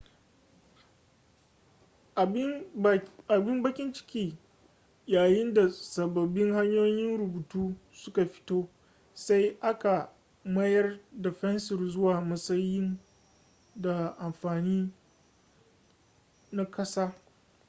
abin bakin ciki yayin da sababbin hanyoyin rubutu suka fito sai aka mayar da fensir zuwa matsayi da amfani na ƙasa